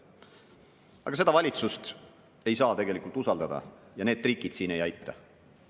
Aga seda valitsust ei saa usaldada ja need trikid ei aita.